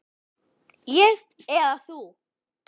Ég eða þú?